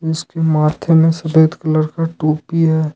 इसके माथे में सफेद कलर का टोपी है।